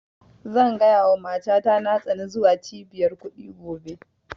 Zan gaya wa mata ta na tsani zuwa cibiyar kuɗi gobe